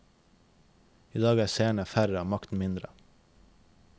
I dag er seerne færre og makten mindre.